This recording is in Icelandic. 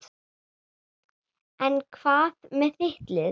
En hvað með þitt lið?